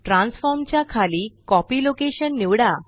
transform च्या खाली copy location निवडा